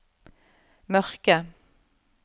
mørke